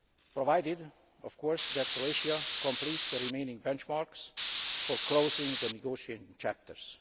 provided of course that Croatia completes the remaining benchmarks for closing the negotiating chapters.